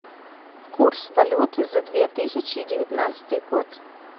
курс валюты за две тысячи девятнадцатый год